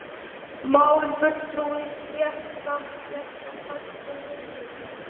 mál,-fulltrúi,-stétt starfsstétt sem fæst við heilbrigðismál